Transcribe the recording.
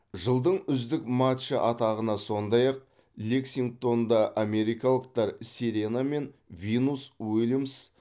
жылдың үздік матчы атағына сондай ақ лексингтонда америкалықтар серена мен винус уильямс